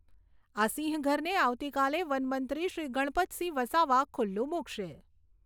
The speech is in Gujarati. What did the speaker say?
આ સિંહઘરને આવતીકાલે વનમંત્રી શ્રી ગણપતસિંહ વસાવા ખુલ્લુ મુકશે.